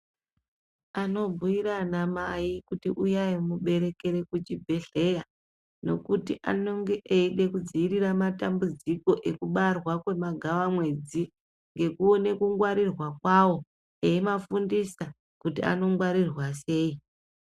Anobhuira ana Mai kuti uyai muberekere kuchibhedhlera ngekuti anenge eida kudzivirira matambudziko ekubarwa kwemagavamwedzi ngekuona kungwarirwa kwawo, eivafundisa kuti anogwarirwa sei.